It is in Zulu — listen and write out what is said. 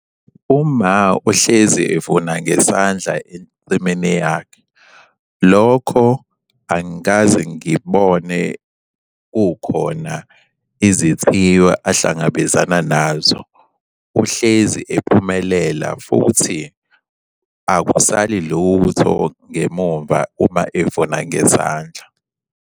Uma uhlezi evuna ngesandla ensimini yakhe. Lokho angikaze ngikubone kukhona izithiyo ahlangabezana nazo. Uhlezi ephumelela futhi akusali lutho ngemumva uma evuna ngezandla.